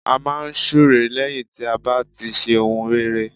A máa n súre lẹ́yìn tí a bá ti ṣe ohun rere